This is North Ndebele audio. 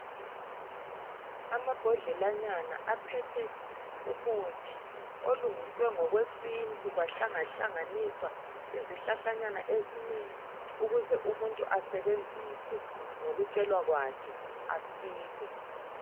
Amabhodlelanyana aphethe umuthi olungiswe ngokwesintu kwahlangahlanganiswa izihlahlanyana ezinengi ukuze umuntu asebenzise ngokutshelwa kwakhe ,asile.